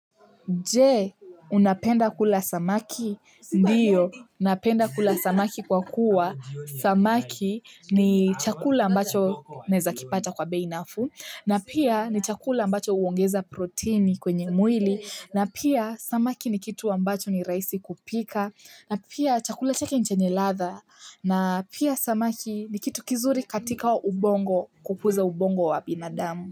Je, unapenda kula samaki, ndiyo, napenda kula samaki kwa kuwa, samaki ni chakula ambacho naeza kipata kwa bei nafuu, na pia ni chakula ambacho huongeza proteini kwenye mwili, na pia samaki ni kitu ambacho ni rahisi kupika, na pia chakula chake ni chenye ladha, na pia samaki ni kitu kizuri katika wa ubongo, kukuza ubongo wa binadamu.